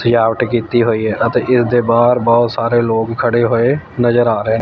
ਸਜਾਵਟ ਕੀਤੀ ਹੋਈ ਹੈ ਅਤੇ ਇਸਦੇ ਬਾਹਰ ਬਹੁਤ ਸਾਰੇ ਲੋਗ ਖੜੇ ਹੋਏ ਨਜ਼ਰ ਆ ਰਹੇ--